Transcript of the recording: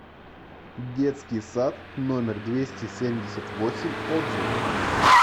детский сад номер двести семьдесят восемь отзывы